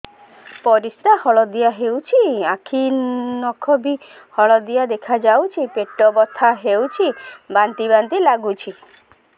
ପରିସ୍ରା ହଳଦିଆ ହେଉଛି ଆଖି ନଖ ବି ହଳଦିଆ ଦେଖାଯାଉଛି ପେଟ ବଥା ହେଉଛି ବାନ୍ତି ବାନ୍ତି ଲାଗୁଛି